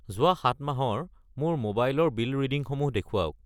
যোৱা 7 মাহৰ মোৰ মোবাইল ৰ বিল ৰিডিংসমূহ দেখুৱাওক।